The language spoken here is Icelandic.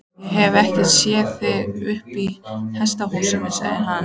Ég hef ekkert séð þig uppi í hesthúsi, sagði hann.